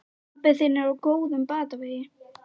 Pabbi þinn er á góðum batavegi.